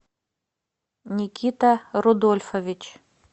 никита рудольфович